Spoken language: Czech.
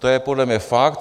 To je podle mě fakt.